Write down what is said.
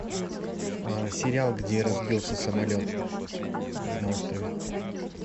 сериал где разбился самолет на острове